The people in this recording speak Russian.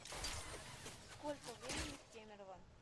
сколько времени в кемерово